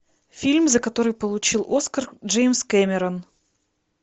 фильм за который получил оскар джеймс кэмерон